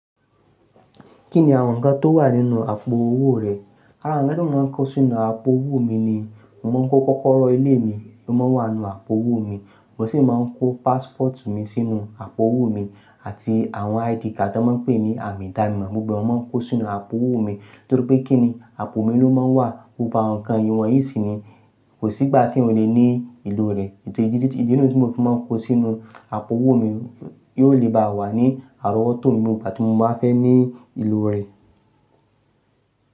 Kí ni àwọn ǹkan tó wà nínú àpò owó rẹ? Àwọn ǹkan tí mo máa ń kó sínú àpò owó mi ni, mo máa ń kó kọ́kọ́rọ́ ilé mi ló máa wà nínú àpò owó mi. Mo sì máa ń kó passport mi sínú àpò owó mi àti àwọn ID card tí wọ́n ń pè ní àmì idanimo, gbogbo wọn máa ń kó sínú àpò owó mi. Nítorí pé kí ni àpò mi ló máa wà kó ba àwọn ǹkan ìwọ̀n yìí sí ní kò sí ìgbà tí wọn lè ní ìlò rẹ̀. Èyí nìyí tí mo fi máa ń kó sínú àpò owó mi, yóò lè bá wà ní àrówótò mi nígbà tí mo bá fẹ́ ní ìlò rẹ̀.